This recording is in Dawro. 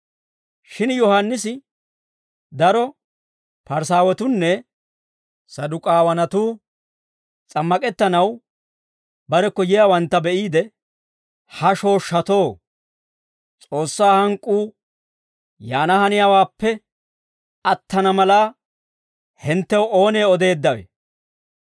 Shin Yohaannisi daro Parisaawatuunne Saduk'aawanatuu s'ammak'ettanaw barekko yiyaawantta be'iide, «Ha shooshshatoo, S'oossaa hank'k'uu yaana haniyaawaappe attana mala, hinttew oonee odeeddawe?